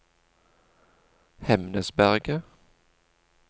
Hemnesberget